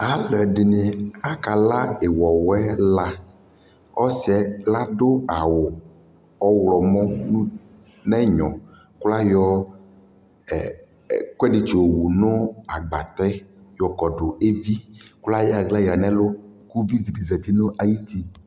Alʋ ɛdɩnɩ akala ɩwɔwɛla Ɔsɩ yɛ adʋ awʋ ɔɣlɔmɔ nʋ ut nʋ ɛnyɔ kʋ ayɔ ɛ ɛkʋɛdɩ tsɩyɔwu agbatɛ yɔkɔdʋ evi kʋ ayɔ aɣla yǝ nʋ ɛlʋ kʋ uvi dɩ zati nʋ ayuti